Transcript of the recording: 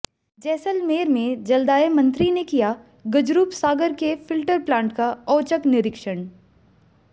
जैसलमेर में जलदाय मंत्री ने किया गजरूप सागर के फिल्टर प्लांट का औचक निरीक्षण